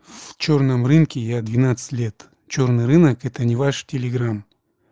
в чёрном рынке я двенадцать лет чёрный рынок это не ваш телеграмм